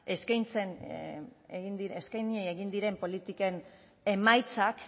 eskaini egin diren politiken emaitzak